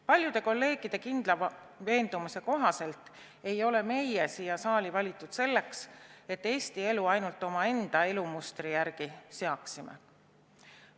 Paljude kolleegide kindla veendumuse kohaselt ei ole meid siia saali valitud selleks, et me Eesti elu ainult omaenda elumustri järgi seaksime.